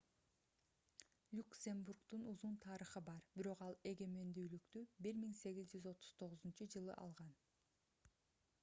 люксембургдун узун тарыхы бар бирок ал эгемендүүлүктү 1839-жылы алган